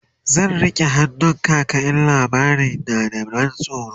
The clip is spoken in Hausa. zan rike hannun kaka in labarin na da ban tsoro